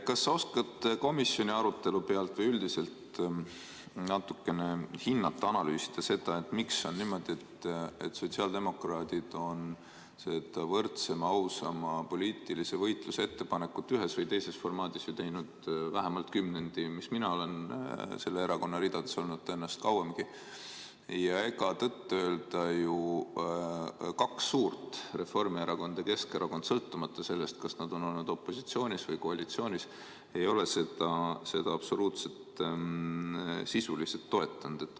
Kas sa oskad komisjoni arutelu pealt või üldiselt natukene hinnata-analüüsida seda, miks on niimoodi, et sotsiaaldemokraadid on seda võrdsema ja ausama poliitilise võitluse ettepanekut ühes või teises formaadis teinud vähemalt kümnendi, mis mina olen selle erakonna ridades olnud, tõenäoliselt kauemgi, aga tõtt-öelda kaks suurt erakonda, Reformierakond ja Keskerakond, sõltumata sellest, kas nad on olnud opositsioonis või koalitsioonis, ei ole ju seda absoluutselt sisuliselt toetanud?